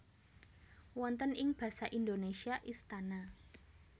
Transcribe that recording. Wonten ing Basa Indonesia Istana